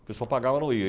A pessoa pagava